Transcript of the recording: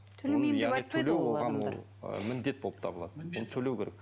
төлемеймін деп айтпайды міндет болып табылады ол төлеу керек